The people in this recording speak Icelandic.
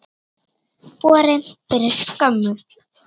Borin fyrir skömmu.